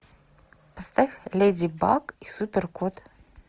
поставь леди баг и супер кот